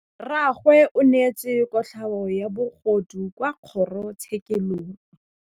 Rragwe o neetswe kotlhaô ya bogodu kwa kgoro tshêkêlông.